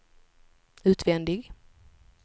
utvändig